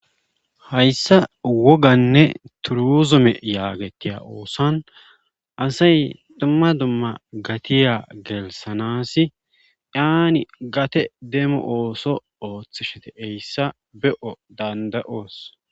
hayssa woganne turuzume yaagetiya oosan asay dumma dumma gatiya gelisanasi yaani gate demo ooso ooththishete eyssa be7o danda7oos